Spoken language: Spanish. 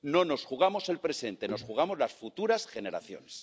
No nos jugamos el presente, nos jugamos las futuras generaciones.